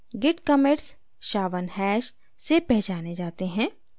git commits sha1 hash से पहचाने जाते हैं